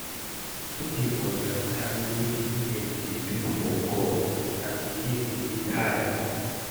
I no dey understand wetin dem dey do for golf and the game dey tiring